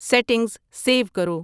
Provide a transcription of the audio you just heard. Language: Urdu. سیٹنگز سیو کرو